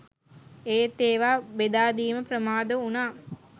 ඒත් ඒවා බෙදා දීම ප්‍රමාද වුණා